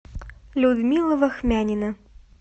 людмила вахмянина